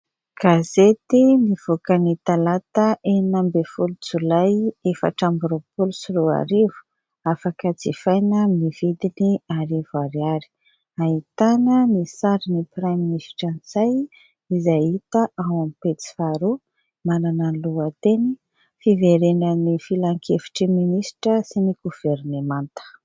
Gazety nivoaka ny talata enina ambin'ny folo jolay efatra amby roapolo sy roarivo, afaka jifaina amin'ny vidiny arivo ariary. Ahitana ny sarin'ny praiminisitra Ntsay izay hita ao amin'ny pejy faharoa manana ny lohateny : Fiverenan'ny filan-kevitry ny minisitra sy ny governemanta.